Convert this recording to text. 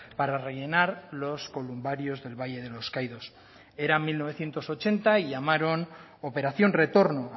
para rellenar los columbarios del valle de los caídos era mil novecientos ochenta y llamaron operación retorno